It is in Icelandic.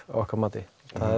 okkar mati